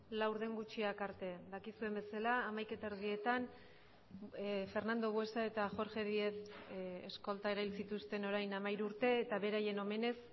laurden gutxiak arte dakizuen bezala hamaika eta erdietan fernando buesa eta jorge diez eskolta erail zituzten orain hamairu urte eta beraien omenez